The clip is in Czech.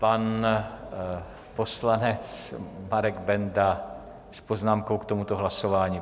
Pan poslanec Marek Benda s poznámkou k tomuto hlasování.